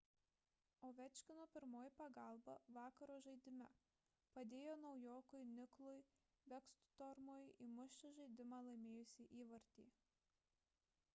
ovečkino pirmoji pagalba vakaro žaidime – padėjo naujokui niklui bekstormui įmušti žaidimą laimėjusį įvartį